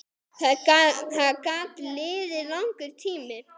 Það gat liðið langur tími.